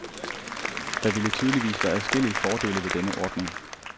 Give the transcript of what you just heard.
Der ville tydeligvis være adskillige fordele ved denne ordning.